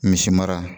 Misi mara